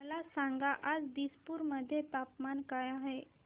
मला सांगा आज दिसपूर मध्ये तापमान काय आहे